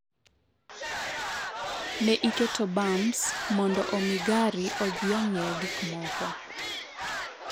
Ne iketo bumps mondo omi gari odhi ng’iewo gikmoko.